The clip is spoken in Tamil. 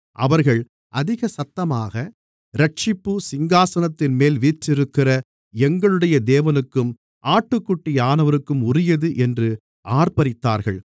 அவர்கள் அதிக சத்தமாக இரட்சிப்பு சிங்காசனத்தின்மேல் வீற்றிருக்கிற எங்களுடைய தேவனுக்கும் ஆட்டுக்குட்டியானவருக்கும் உரியது என்று ஆர்ப்பரித்தார்கள்